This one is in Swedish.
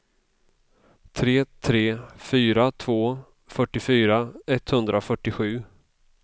tre tre fyra två fyrtiofyra etthundrafyrtiosju